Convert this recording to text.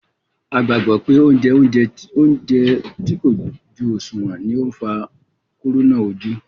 A gbàgbọ́ pé jije óúnjẹ tí kò pó jú ọ̀ṣùwọ̀n ni ó ń fa kúrúnà ojú